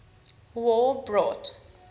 war brought